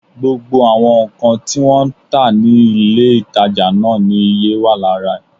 Gbogbo àwọn nǹkan tí wọ́n ń tà ní ilé-ìtàjà náà ni iye wà lára ẹ̀